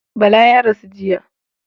Bala ya rasu jiya.